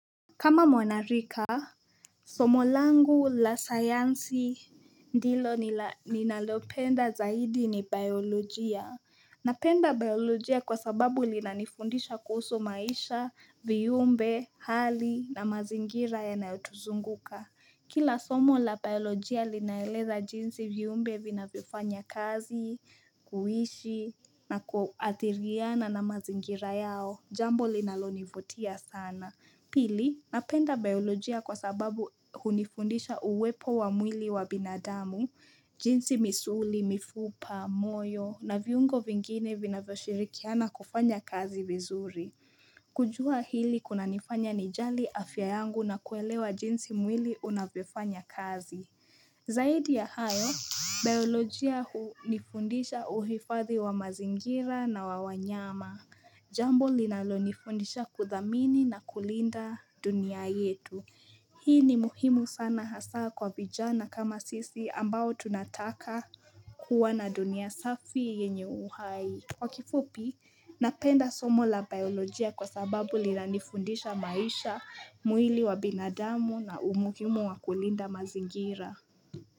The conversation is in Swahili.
Kama mwanarika, somo langu la sayansi ndilo ninalopenda zaidi ni biolojia Napenda biolojia kwa sababu linanifundisha kuhusu maisha, viumbe, hali na mazingira ya nayotuzunguka Kila somo la biolojia linaeleza jinsi viumbe vinavyofanya kazi, kuishi na kuathiriana na mazingira yao Jambo linalonivutia sana Pili, napenda biolojia kwa sababu hunifundisha uwepo wa mwili wa binadamu, jinsi misuli, mifupa, moyo, na viungo vingine vinavyo shirikiana kufanya kazi vizuri. Kujua hili kunanifanya nijali afya yangu na kuelewa jinsi mwili unavyo fanya kazi. Zaidi ya hayo, biolojia hunifundisha uhifathi wa mazingira na wa wanyama. Jambo linalonifundisha kudhamini na kulinda dunia yetu Hii ni muhimu sana hasaa kwa vijana kama sisi ambao tunataka kuwa na dunia safi yenye uhai Kwa kifupi, napenda somo la biolojia kwa sababu lina nifundisha maisha, mwili wa binadamu na umuhimu wa kulinda mazingira.